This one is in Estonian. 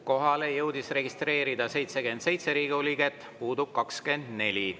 Kohalolijaks jõudis registreeruda 77 Riigikogu liiget, puudub 24.